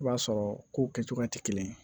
I b'a sɔrɔ kow kɛcogoya tɛ kelen ye